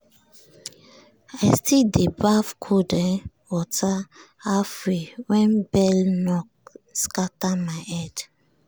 i still dey baff cold um water halfway when bell knock scatter my head.